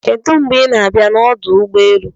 Kedu mgbe ị na-abịa n'ọdụ ụgbọelụ?